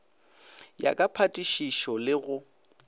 ya ka phatišišo le go